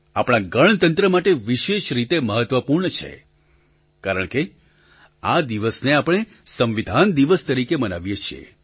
આપણા ગણતંત્ર માટે વિશેષ રીતે મહત્વપૂર્ણ છે કારણકે આ દિવસને આપણે સંવિધાન દિવસ તરીકે મનાવીએ છીએ